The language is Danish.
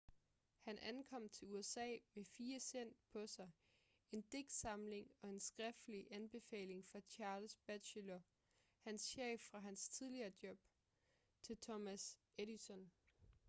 han ankom til usa med 4 cent på sig en digtsamling og en skriftlig anbefaling fra charles batchelor hans chef fra hans tidligere job til thomas edison